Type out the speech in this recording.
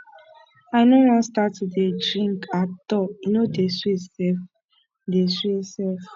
i no wan start to dey drink at all e no dey sweet sef dey sweet sef